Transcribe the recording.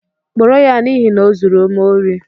Kpụrụ ya n'ihi na o zụrụ m óri